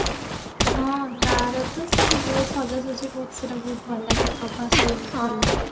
ହଁ ତାର ତ ସେ ତ ବହୁତ ସଜା ସଜି ବହୁତ ସେଟ ବହୁତ ଭଲ ଲାଗେ ପ୍ରଭାସ